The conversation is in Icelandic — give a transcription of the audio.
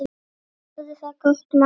Hafðu það gott mamma mín.